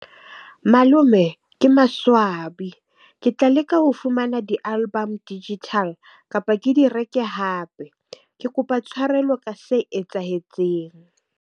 Malome ke maswabi ke tla leka ho fumana di-album digital kapa ke di reke hape ke kopa tshwarelo ka se etsahetseng.